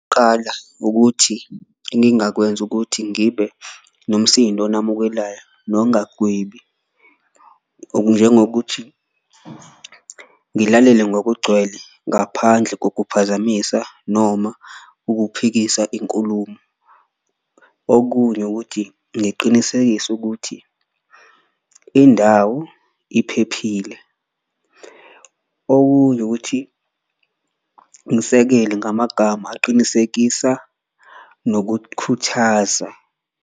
Ukuthi engingakwenza ukuthi ngibe nomsindo onamukelayo nokungagwebi, njengokuthi ngilalele ngokugcwele ngaphandle kokuphazamisa noma ukuphikisa inkulumo. Okunye ukuthi ngiqinisekise ukuthi indawo iphephile, okunye ukuthi ngisekele ngamagama aqinisekisa nokukhuthaza.